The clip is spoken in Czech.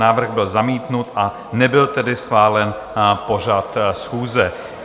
Návrh byl zamítnut, a nebyl tedy schválen pořad schůze.